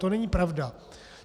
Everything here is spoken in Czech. To není pravda.